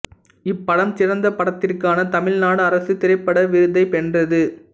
இப்படம் சிறந்த படத்திற்கான தமிழ்நாடு அரசு திரைப்பட விருதை வென்றது